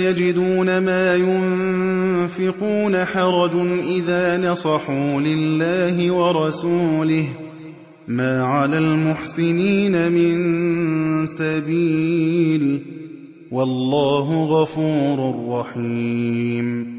يَجِدُونَ مَا يُنفِقُونَ حَرَجٌ إِذَا نَصَحُوا لِلَّهِ وَرَسُولِهِ ۚ مَا عَلَى الْمُحْسِنِينَ مِن سَبِيلٍ ۚ وَاللَّهُ غَفُورٌ رَّحِيمٌ